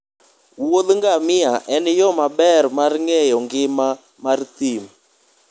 wuodh ngamia en yo maber mar ng'eyo ngima mar thim.